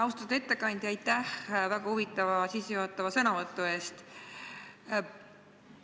Austatud ettekandja, aitäh väga huvitava sissejuhatava sõnavõtu eest!